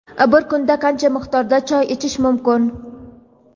Bir kunda qancha miqdorda choy ichish mumkin?.